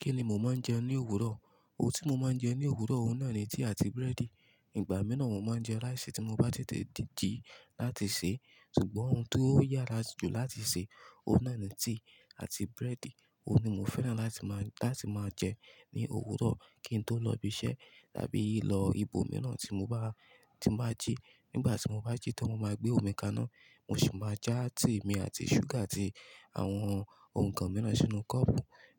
Kí ni mo máa ń jẹ ní òwúrọ̀? Ohun tí mo máa ń jẹ ní òwúrọ̀, òun náà ni tíì àti búrẹ́dì. Ìgbà mìíràn mo máa ń jẹ ráìsì tí mo bá tètè jí láti se. Sugbon ohun tó yára jù láti se, òun náà ni tíì àti búrẹ́dì. Ohun ni mo fẹ́ràn láti máa, láti máa jẹ ní òwúrọ̀ kí n tó lọ ibi iṣẹ́ tàbí ì lọ ibòmíràn tí mo bá, tí n ba jí. Nígbà tí mo bá jí tán, mo máa gbé omi kaná, mo sì máa já tíì mi àti ṣúgà àti àwọn ǹkan mìíràn sínú kọ́ọ̀pù